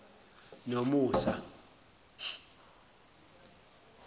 nomusa